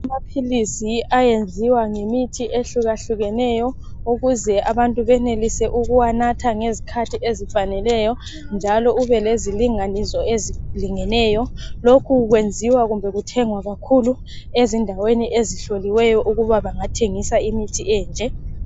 Amaphilisi ayenziwa ngemithi ehlukahlukeneyo ukuze abantu benelise ukuwanatha ngezikhathi ezifaneleyo njalo kube lezilinganiso ezilingeneyo lokhu kwenziwa kumbe kuthengwa kakhulu ezindaweni ezihloliweyo ukuthi bengathengisa imithi enje.